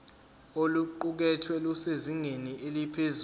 oluqukethwe lusezingeni eliphezulu